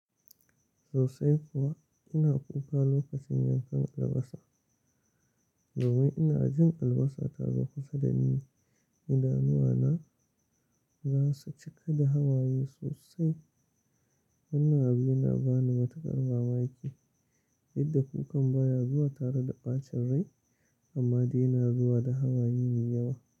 Sosai kuwa ina kuka lokacin yankan albasa. Domin ina jin albasa ta zaku sadani, idanuwa na za su cika da hawaye sosai. Wannan abu yana bani matukar mamaki. Yadda kukan baya zuwa tare da ɓacin rai amma dai na zuwa da hawaye me yawa.